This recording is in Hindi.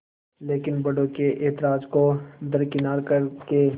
लेकिन बड़ों के ऐतराज़ को दरकिनार कर के